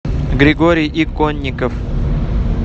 григорий иконников